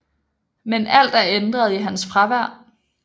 Men alt er ændret i hans fravær